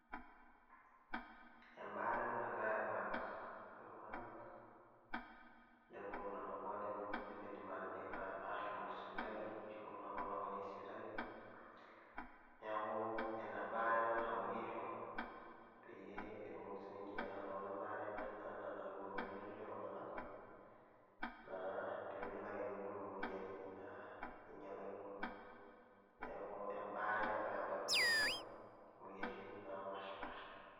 Embaare ena nagirai abak ltunganak lenkop nalakwa limidim ashom sipitali ashu ltunganak olakwaniki sipitali neaku enabaare ena nashomoki aisho peyieu etumoki sinche ainoto enbaare anaa enatumito kulie tunganak pemelo ake nibung moyiaritin ainyalakino, neaku embaare ena nagira abak ltunganak moyiaritin napashipaasha.